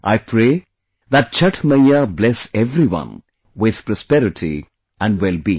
I pray that Chhath Maiya bless everyone with prosperity and well being